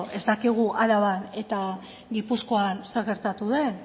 ez dakigun araban eta gipuzkoan zer gertatu den